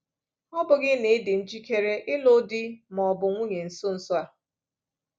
Ọ bụghị na ị dị njikere ịlụ di ma ọ bụ nwunye nso nso a.